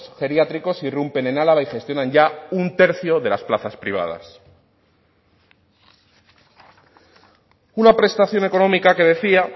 geriátricos irrumpen en álava y gestionan ya un tercio de las plazas privadas una prestación económica que decía